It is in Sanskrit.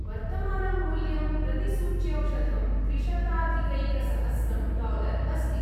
वर्तमानं मूल्यं प्रतिसूच्यौषधं त्रिशताधिकैकसहस्रं डालर् अस्ति।